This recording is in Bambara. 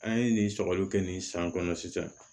An ye nin sɔgɔli kɛ nin san kɔnɔ sisan